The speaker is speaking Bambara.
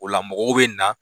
O la mɔgɔw bɛ na.